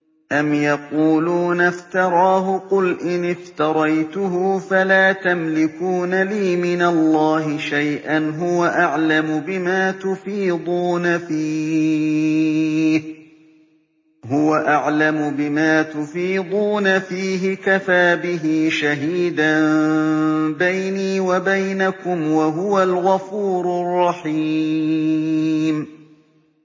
أَمْ يَقُولُونَ افْتَرَاهُ ۖ قُلْ إِنِ افْتَرَيْتُهُ فَلَا تَمْلِكُونَ لِي مِنَ اللَّهِ شَيْئًا ۖ هُوَ أَعْلَمُ بِمَا تُفِيضُونَ فِيهِ ۖ كَفَىٰ بِهِ شَهِيدًا بَيْنِي وَبَيْنَكُمْ ۖ وَهُوَ الْغَفُورُ الرَّحِيمُ